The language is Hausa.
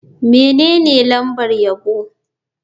Menene lambar yabo?